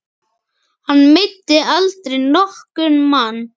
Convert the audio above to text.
Hann meiddi aldrei nokkurn mann.